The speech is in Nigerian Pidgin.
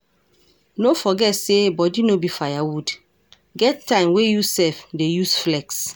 No forget sey body no be firewood, get time wey you sef dey use flex